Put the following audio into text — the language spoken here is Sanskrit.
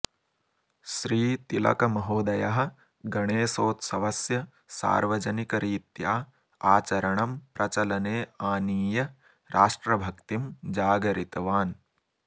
श्रीतिलकमहोदयः गणेशोत्सवस्य सार्वजनिकरीत्या आचरणं प्रचलने आनीय राष्ट्रभक्तिं जागरितवान्